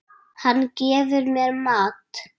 Hann gefur mér mat.